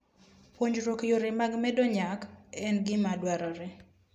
Puonjruok yore mag medo nyak en gima dwarore.